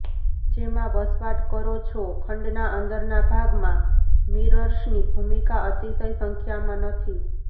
જેમાં વસવાટ કરો છો ખંડના અંદરના ભાગમાં મિરર્સની ભૂમિકા અતિશય સંખ્યામાં નથી